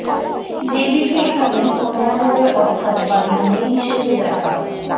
দেবীকে এখানে কন্যারূপে অর্থাৎ বাড়ির মেয়ে হিসেবে দেখা হয়